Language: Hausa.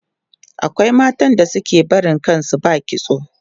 akwai matan da suke barin kan su ba kitso